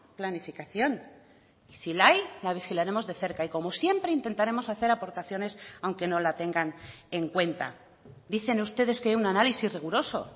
planificación y si la hay la vigilaremos de cerca y como siempre intentaremos hacer aportaciones aunque no la tengan en cuenta dicen ustedes que hay un análisis riguroso